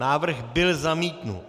Návrh byl zamítnut.